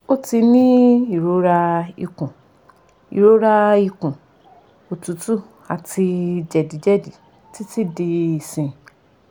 o ti ni irora ikun irora ikun otutu ati jedijedi titi di isin